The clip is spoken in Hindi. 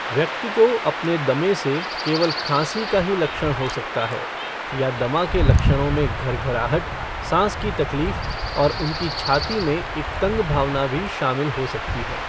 व्यक्ति को अपने दमे से केवल खांसी का ही लक्षण हो सकता है, या दमा के लक्षणों में घरघराहट, साँस की तकलीफ, और उनकी छाती में एक तंग भावना भी शामिल हो सकती है।